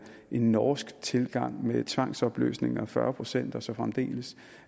en norsk tilgang med tvangsopløsninger og fyrre procent og så fremdeles